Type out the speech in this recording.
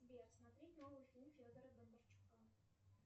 сбер смотреть новый фильм федора бондарчука